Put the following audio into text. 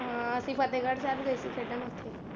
ਹਾਂ ਅਸੀਂ ਫਤਿਹਗੜ੍ਹ ਸਾਹਿਬ ਗਏ ਸੀ ਖੇਡਣ ਉੱਥੇ।